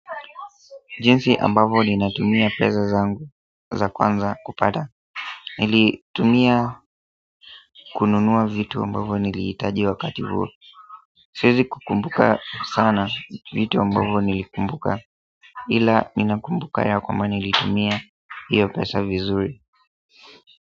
Jinsi ambavo ninatumia pesa zangu za kwanza kupata. Nilitumia kununua vitu ambavo nilhitaji wakati huo siwezi kukumbuka sana vitu ambavo nilikumbuka ila ninakumbuka ya kwamba nilitumia hiyo pesa vizuri.